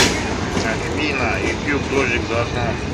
афина ютуб дождик за окном